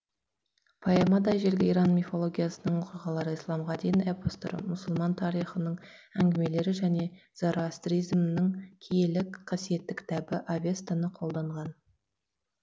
поэмада ежелгі иран мифологиясының оқиғалары исламға дейінгі эпостар мұсылман тарихының әңгімелері және зароостризмнің киелі қасиетті кітабы авестаны қолданған